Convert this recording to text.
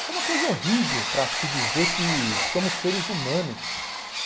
Isso é uma coisa horrível para se dizer que somos seres humanos.